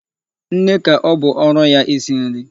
Nne ka ọ bụ ọrụ ya isi nri.